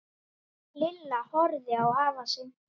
Lilla horfði á afa sinn.